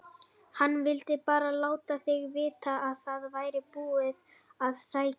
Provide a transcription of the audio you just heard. HANN VILDI BARA LÁTA ÞIG VITA AÐ ÞAÐ VÆRI BÚIÐ AÐ SÆKJA